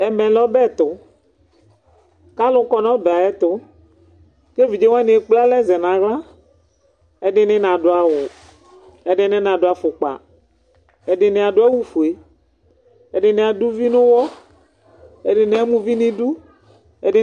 ɛmɛlɛ ɔbɛtu kaluƙɔ nu ɔbɛayƹtu kɛvidzɛ wɑni ɛkplɛalɛ zɛnɑhla ɛdini nɑduawu ɛdininɑdu ɑfukpɑ ɛdini ɑduawufuɛ ɛdinia duvi nuwɔ ɛdini ɑmɑ uvinidu ɛdi